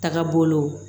Taga bolo